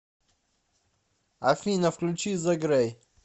афина включи зе грей